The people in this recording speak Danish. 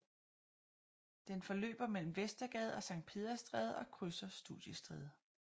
Den forløber mellem Vestergade og Sankt Peders Stræde og krydser Studiestræde